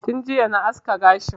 Tun jiya na aske gashi